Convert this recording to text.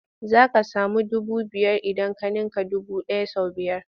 Za ka samu dubu biyar idan ka ninka dubu ɗaya sau biyar.